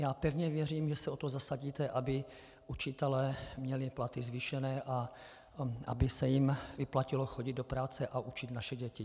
Já pevně věřím, že se o to zasadíte, aby učitelé měli platy zvýšené a aby se jim vyplatilo chodit do práce a učit naše děti.